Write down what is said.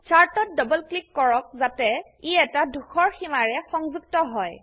চাৰ্টত double click কৰক যাতে ই এটা ধূসৰ সীমাৰে সংযুক্ত হয়